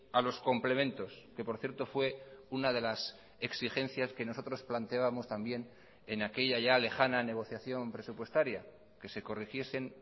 a los complementos que por cierto fue una de las exigencias que nosotros planteábamos también en aquella ya lejana negociación presupuestaria que se corrigiesen